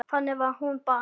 Þannig var hún bara.